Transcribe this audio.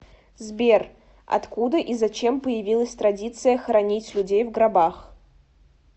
сбер откуда и зачем появилась традиция хоронить людей в гробах